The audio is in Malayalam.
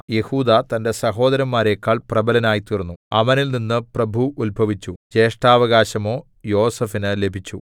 യെഹൂദാ തന്റെ സഹോദരന്മാരെക്കാൾ പ്രബലനായ്തീർന്നു അവനിൽനിന്ന് പ്രഭു ഉത്ഭവിച്ചു ജ്യേഷ്ഠാവകാശമോ യോസേഫിന് ലഭിച്ചു